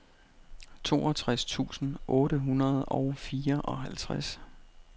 toogtres tusind otte hundrede og fireoghalvtreds